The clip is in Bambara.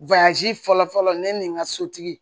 fɔlɔ fɔlɔ ne ni n ka sotigi